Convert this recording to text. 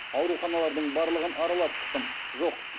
ауруханалардың барлығын аралап шықтым жоқ